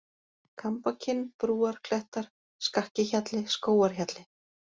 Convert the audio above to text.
Kambakinn, Brúarklettar, Skakkihjalli, Skógarhjalli